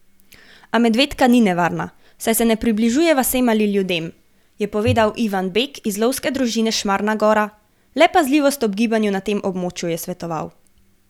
A medvedka ni nevarna, saj se ne približuje vasem ali ljudem, je povedal Ivan Bek iz Lovske družine Šmarna gora, le pazljivost ob gibanju na tem območju je svetoval.